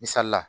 Misali la